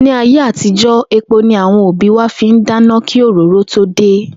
Ní ayé àtijó̩, epo ni àwo̩n òbí wa fi ń dáná kí òróró tó dé